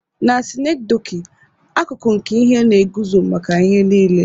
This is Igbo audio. Na synecdoche, akụkụ nke ihe na-eguzo maka ihe niile.